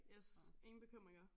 Yes ingen bekymringer